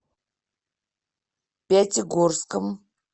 пятигорском